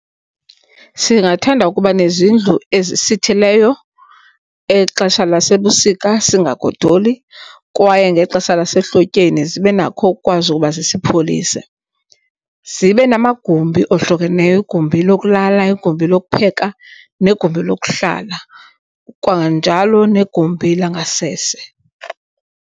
Singathanda ukuba nezindlu ezisitheleyo exesha lasebusika, singagodoli kwaye ngexesha lasehlotyeni zibe nakho ukukwazi ukuba zisipholise. Zibe namagumbi ohlukeneyo, igumbi lokulala, igumbi lokupheka negumbi lokuhlala kwanjalo negumbi langasese.